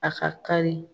A ka kari